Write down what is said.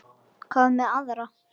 Hvað með aðra?